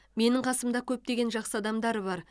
менің қасымда көптеген жақсы адамдар бар